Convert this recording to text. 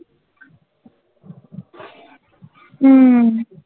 উম